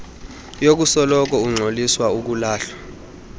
yokusoloko ungxoliswa ukulahlwa